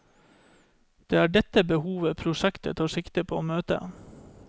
Det er dette behovet prosjektet tar sikte på å møte.